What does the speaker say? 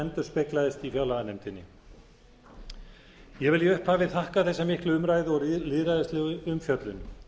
endurspeglaðist í fjárlaganefndinni ég vil í upphafi þakka þessa miklu umræðu og lýðræðislegu umfjöllun